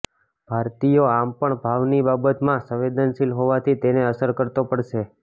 ભારતીયો આમ પણ ભાવની બાબતમાં સંવેદનશીલ હોવાથી તેની અસર તો પડશે